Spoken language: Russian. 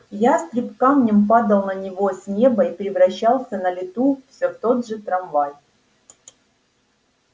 ястреб камнем падал на него с неба и превращался на лету все в тот же трамвай